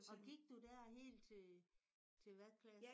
Og gik du der helt til til hvad klasse?